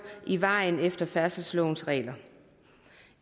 i vejen efter færdselslovens regler